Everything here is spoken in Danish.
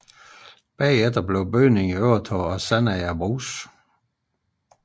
Efterfølgende blev bygningen overtaget af Sandager Brugs